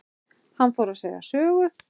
Hann fór að segja sögu.